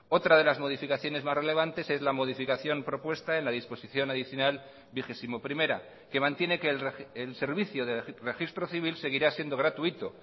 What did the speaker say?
otra de las modificaciones más relevantes es la modificación propuesta en la disposición adicional vigesimoprimera que mantiene que el servicio de registro civil seguirá siendo gratuito